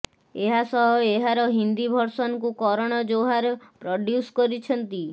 ଏହାସହ ଏହାର ହିନ୍ଦି ଭର୍ସନକୁ କରଣ ଜୋହର ପ୍ରଡ଼୍ୟୁସ କରିଛନ୍ତି